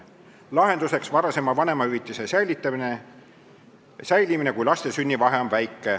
Lahendusena nähti varasema vanemahüvitise säilimist, kui laste sündide vahe on väike.